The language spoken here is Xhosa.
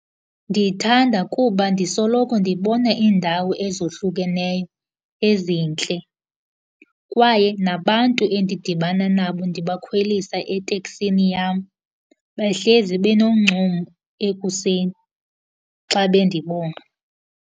Ndithanda kuba ndisoloko ndibona iindawo ezohlukeneyo ezintle, kwaye nabantu endidibana nabo ndibakhwelisa eteksini yam behlezi benoncumo ekuseni xa bendibona.